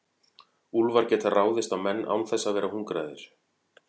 Úlfar geta ráðist á menn án þess að vera hungraðir.